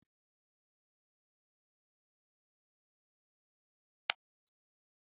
Kula da oda, warware rikice-rikice, da ci gaban al'umma duk ayyuka ne na matakan shekaru.